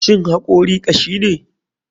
Shin hakori kashine?